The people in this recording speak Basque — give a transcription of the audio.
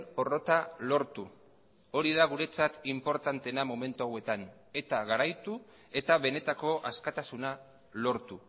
porrota lortu hori da guretzat inportanteena momentu hauetan eta garaitu eta benetako askatasuna lortu